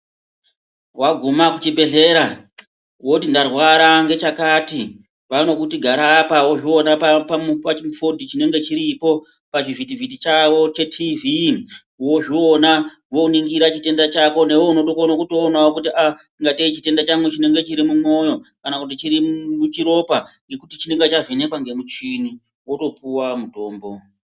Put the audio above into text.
Waguma kuchibhehlera woti ndarwara ngechakati vanokuti gara apa, wozviona pachifodho chinenge chiripo, pachivhitivhiti chavo wozviona woningira chitenda chako newewo unotokone kuona kuti aah ingatei kuti chitenda changu chirimumwoyo kana kuti chiri muchiropa ngekuti chinenge chavhenekwa ngemuchini wotopuwa mutombo.